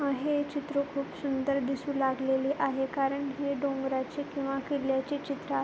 हे चित्र खूप सुंदर दिसू लागलेले आहे कारण हे डोंगराचे किंवा किल्ल्याचे चित्र --